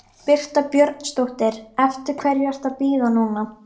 Birta Björnsdóttir: Eftir hverju ertu að bíða núna?